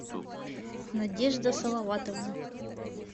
надежда салаватовна